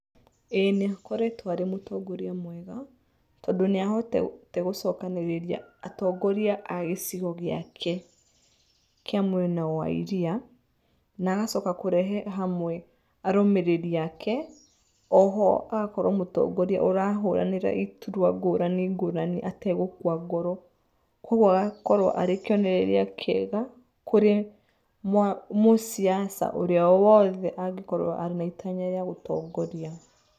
Ĩĩ nĩ akoretwo arĩ mũtongoria mwega tondũ nĩ ahotete gũcokanĩrĩria atongoria a gĩcigo gĩake, kĩa mwena wa iria na agacoka kũrehe hamwe arũmĩrĩri ake oho agakorwo mũtongoria ũrahũranĩra iturwa ngũrani ngũrani ategũkua ngoro. Koguo agakorwo arĩ kĩonereria kĩega kwĩ mũciaca ũrĩa wothe ũngĩkorwo arĩ na itanya rĩa gũtongoria